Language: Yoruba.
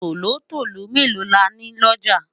tòlótòló melo là ní looja?